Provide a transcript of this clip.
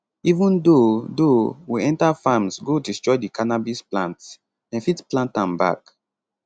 even though though we enta farms go destroy di cannabis plants dem fit plant am back